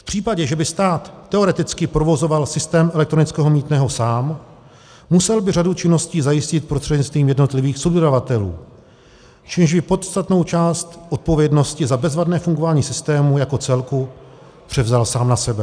V případě, že by stát teoreticky provozoval systém elektronického mýtného sám, musel by řadu činností zajistit prostřednictvím jednotlivých subdodavatelů, čímž by podstatnou část odpovědnosti za bezvadné fungování systému jako celku převzal sám na sebe.